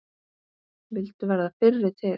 Vildu verða fyrri til.